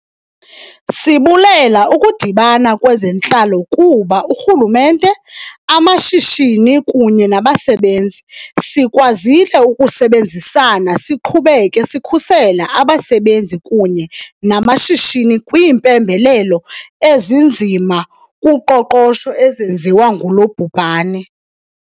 Sibulela ukudibana kwezentlalo kuba urhulumente, amashishini kunye nabasebenzi, sikwazile ukusebenzisana siqhubeke sikhusela abasebenzi kunye namashishini kwiimpembelelo ezinzima kuqoqosho ezenziwa ngulo bhubhane.